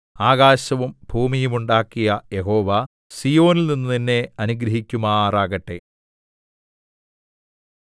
ആകാശവും ഭൂമിയും ഉണ്ടാക്കിയ യഹോവ സീയോനിൽനിന്ന് നിന്നെ അനുഗ്രഹിക്കുമാറാകട്ടെ